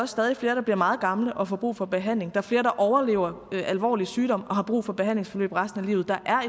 stadig flere der bliver meget gamle og får brug for behandling er flere der overlever alvorlig sygdom og har brug for behandlingsforløb resten af livet der er